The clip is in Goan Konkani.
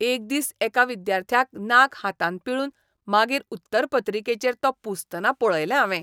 एक दीस एका विद्यार्थ्याक नाक हातान पिळून मागीर उत्तरपत्रिकेचेर तो पुसतना पळयलें हावें.